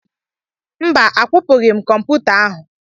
Mba, akwụpụghị m kọmputa ahụ.